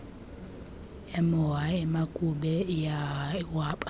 emoha emakube iwaba